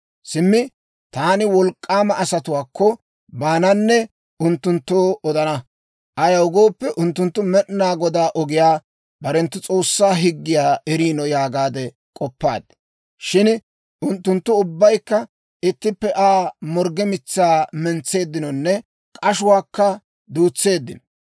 Simmi taani wolk'k'aama asatuwaakko baananne unttunttoo odana. Ayaw gooppe, unttunttu Med'inaa Godaa ogiyaa, barenttu S'oossaa higgiyaa eriino» yaagaade k'oppaad. Shin unttunttu ubbaykka ittippe Aa morgge mitsaa mentseeddinonne k'ashuwaakka duutseeddino.